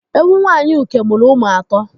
Ewu Nwaanyị Uke mụrụ ụmụ atọ.